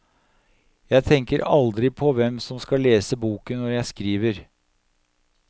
Jeg tenker aldri på hvem som skal lese boken når jeg skriver.